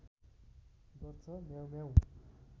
गर्छ म्याउँम्याउँ